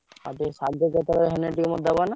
ଶାଗ ହେଲେ ମତେ ତମେ ଦବ ନା?